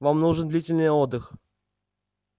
вам нужен длительный отдых